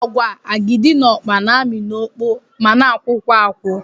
Agwa, akidi na ọkpa na-amị n'okpo ma na-akwụkwa akwụ